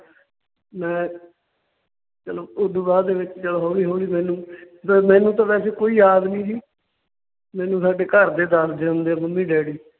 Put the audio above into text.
ਮੈਂ ਚਲੋਂ ਓਦੂ ਬਾਅਦ ਦੇ ਵਿੱਚ ਜਦੋਂ ਹੌਲੀ ਹੌਲੀ ਮੈਨੂੰ ਤੇ ਮੈਨੂੰ ਤਾਂ ਵੈਸੇ ਕੋਈ ਯਾਦ ਨਈਂ ਸੀ, ਮੈਨੂੰ ਸਾਡੇ ਘਰਦੇ ਦੱਸਦੇ ਹੁੰਦੇ ਆ ਮੰਮੀ ਡੈਡੀ।